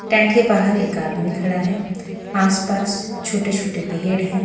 Stand के बाहर एक आदमी खड़ा है आसपास छोटे छोटे पेहेड़ हैं।